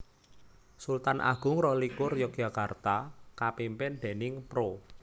Sultan Agung rolikur Yogyakarta kapimpin déning Pro